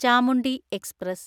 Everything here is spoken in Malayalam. ചാമുണ്ഡി എക്സ്പ്രസ്